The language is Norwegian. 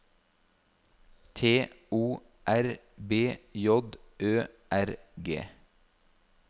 T O R B J Ø R G